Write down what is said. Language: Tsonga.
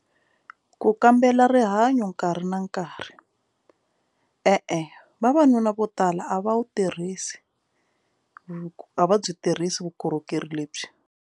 Ku kambela rihanyo nkarhi na nkarhi e-e vavanuna vo tala a va wu tirhisi a va byi tirhisi vukorhokeri lebyi.